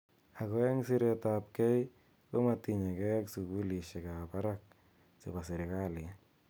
Ako ebg siret ap kei komatinyekei ak sukulishek ab barak che bo sirikalit.